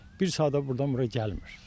Bir saata burdan bura gəlmir.